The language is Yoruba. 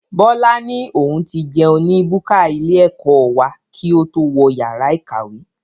Bọlá ni òun ti jẹun ní búkà ilé ẹ̀kọ́ wá kí ó tó wọ yàrá ìkàwé.